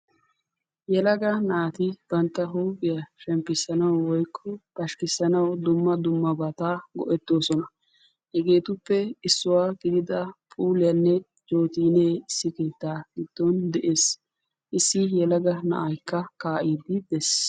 Yelaga naati bantta huuphphiya shemmppissanawu woykko pashshikkissanawu dumma dummabata go'ettoosona. Hegeetuppe issuwa gidida puuleenne jootiinne issi biittaa giddon de'ees. Issi yelaga na'aykka kaa'iidi dees.